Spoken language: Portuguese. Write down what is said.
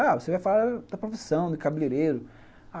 Ah, você vai falar da profissão do cabeleireiro.